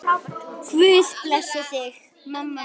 Guð blessi þig, mamma mín.